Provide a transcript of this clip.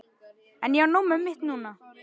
En ég á nóg með mitt núna.